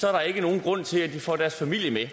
er der ikke nogen grund til at de får deres familie med